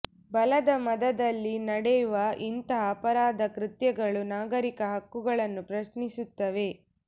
ಬಲದ ಮದದಲ್ಲಿ ನಡೆವ ಇಂಥ ಅಪರಾಧ ಕೃತ್ಯಗಳು ನಾಗರಿಕ ಹಕ್ಕುಗಳನ್ನು ಪ್ರಶ್ನಿಸುತ್ತವೆ